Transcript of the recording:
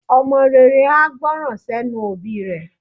Ọmọ rere a gbọ́nran sẹ́nu òbí rẹ̀.